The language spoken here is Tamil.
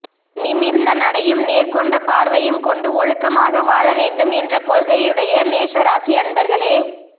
நிமிர்ந்த நடையும் நேர்கொண்ட பார்வையும் கொண்டு ஒழுக்கமாக வாழ வேண்டும் என்ற கொள்கையுடைய மேஷ ராசி அன்பர்களே